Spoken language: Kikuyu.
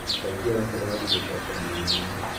Makaingĩra kĩrathi gũcokera mathomo